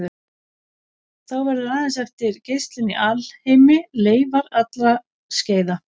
Þá verður aðeins eftir geislun í alheimi, leifar allra skeiða.